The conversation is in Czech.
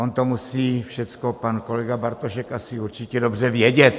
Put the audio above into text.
On to musí všechno pan kolega Bartošek asi určitě dobře vědět.